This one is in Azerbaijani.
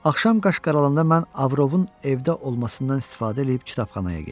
Axşam qarşqaralanda mən Avrovun evdə olmasından istifadə eləyib kitabxanaya getdim.